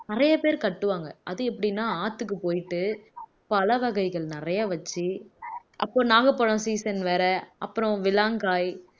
நிறைய பேர் கட்டுவாங்க அது எப்படின்னா ஆத்துக்கு போயிட்டு பழ வகைகள் நிறைய வச்சு அப்போ நாகப்பழம் season வேற அப்புறம் விளங்காய்